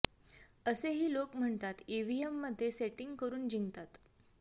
असे ही लोक म्हणतात इव्हीएम मधे सेटींग करून जिंकतात